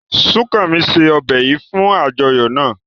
Sukanmi se ọbè yìí fún àjọyọ̀ náà.